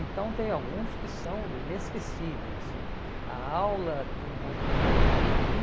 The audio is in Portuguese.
Então tem alguns que são inesquecíveis, assim, a aula do movimento hippie,